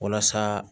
Walasa